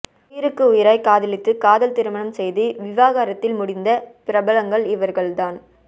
உயிருக்கு உயிராய் காதலித்து காதல் திருமணம் செய்து விவாகரத்தில் முடிந்த பிரபலங்கள் இவர்கள் தான்